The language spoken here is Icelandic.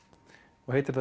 og heitir